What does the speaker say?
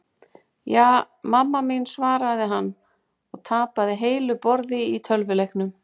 Ja, mamma mín svaraði hann og tapaði heilu borði í tölvuleiknum.